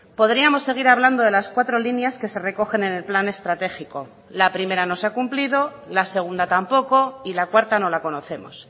podríamos seguir hablando de las cuatro líneas que se recogen en el plan estratégico la primera no se ha cumplido la segunda tampoco y la cuarta no la conocemos